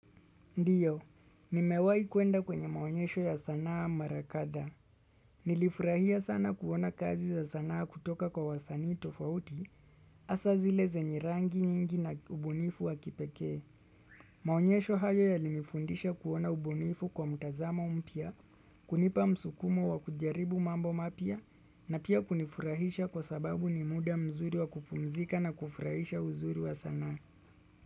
Ndiyo, nimewai kuenda kwenye maonyesho ya sanaa mara kadhaa. Nilifurahia sana kuona kazi za sanaa kutoka kwa wasanii tofauti, hasa zile zenye rangi nyingi na ubunifu wa kipekee. Maonyesho hayo yalinifundisha kuona ubunifu kwa mtazamo mpya, kunipa msukumo wa kujaribu mambo mapya, na pia kunifurahisha kwa sababu ni muda mzuri wa kupumzika na kufurahisha uzuri wa sanaa.